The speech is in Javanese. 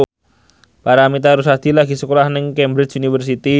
Paramitha Rusady lagi sekolah nang Cambridge University